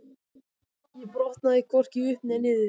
Ég botnaði hvorki upp né niður.